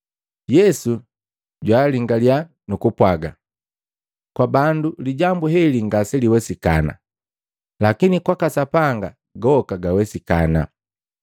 Yesu jwaalingalia nukupwaga, “Kwa bandu lijambu heli ngaseliwesikana lakini kwaka Sapanga goka gawesikana.”